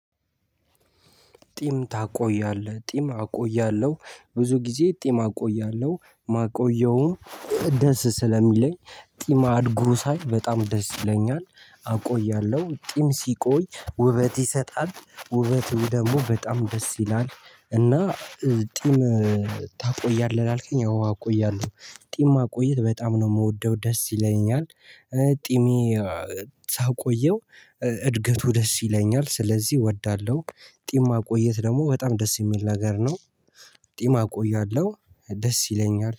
ጢም ታቆያለህ ጢም አቆያለሁ ብዙ ጊዜ ጢም አቆያለሁ ማቆየውን ደስ ስለሚለኝ ጢም አድጎ ሳይ በጣም ደስ ይለኛል አቆያለሁ ጢም ሲቆይ ውበት ይሰጣል ውበቱ ደግሞ በጣም ደስ ይላል። እና ጢም ታቆያለህ ላልከኝ አዎ አቆያለሁ ጥም ማቆየት በጣም ነው የምወደው ደስ ይለኛል። ጢሜ ሳቆየው እድገቱ ደስ ይለኛል ስለዚህ እወዳለሁ። ጢም ማቆየት ደግሞ በጣም ደስ የሚል ነገር ነው። ጢም እቆያለሁ ደስ ይለኛል